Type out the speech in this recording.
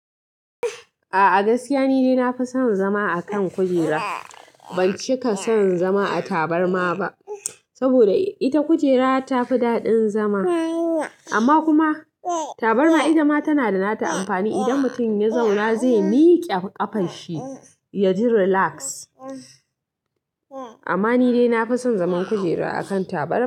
A'a gaskiya nidai na fi son zama a kan kujera ban cika son zama a tabarma ba, saboda ita kujera tafi daɗin zama amma kuma tabarma itama tana da nata amfani idan mutum ya zauna zai miqe ƙafanshi yaji relax. Amma ni dai nafi son zaman kujera a kan tabarma.